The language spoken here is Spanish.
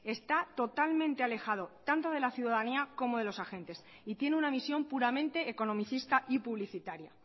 está totalmente alejado tanto de la ciudadanía como de los agentes y tiene una misión puramente economicista y publicitaria